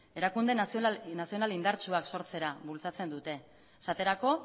erakunde nazional indartsuak sortzera bultzatzen dute esaterako